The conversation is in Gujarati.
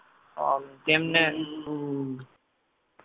તેમને